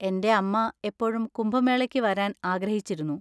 എന്‍റെ അമ്മ എപ്പോഴും കുംഭമേളയ്ക്ക് വരാന്‍ ആഗ്രഹിച്ചിരുന്നു.